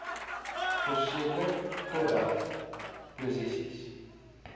verseker totdat posisies